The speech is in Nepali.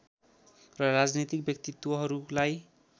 र राजनीतिक व्यक्तित्वहरूलाई